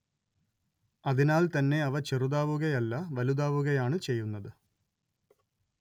അതിനാൽത്തന്നെ അവ ചെറുതാവുകയല്ല വലുതാവുകയാണ്‌ ചെയ്യുന്നത്